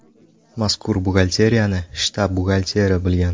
Mazkur buxgalteriyani shtab buxgalteri bilgan.